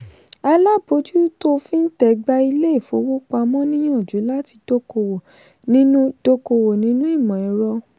alábòjútó fintech gbà ilé ifowopamọ́ níyànjú láti dókòwò nínú dókòwò nínú imọ̀ ẹ̀rọ.